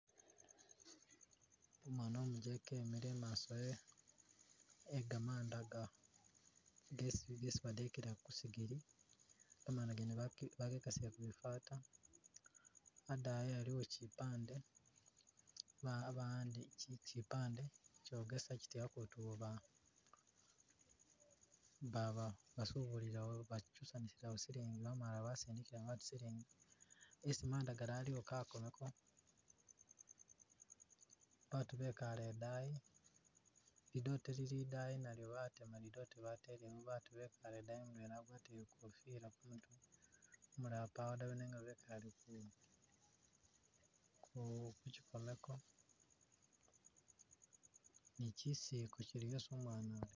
Umwana umujeke emile imaaso e- gamamda ga- gesi badekela ku sigiri gamanda gene bagekasile kubi fata adaayi aliwo kipande kipande kyogesa kiti atu awo ba- ba- basubulirawo bakyusanisirawo silingi bamala basindikira batu silingi esi manda gali aliwo kakomeko batu bekale idaayi lidote lili idayi nalyo batema lidote batelewo batu bekale idaayi mudwena wagwatile ikofila ku mutwe umulala pawo dawe nenga bekale ku-kukyikomeko nikyisiliko kili esi umwana uyo